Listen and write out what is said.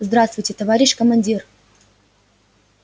здравствуйте товарищ командир